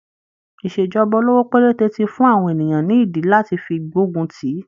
Ìṣèjọba olówó péréte ti fún àwọn ènìyàn ní ìdí lati fi gbógun tíì.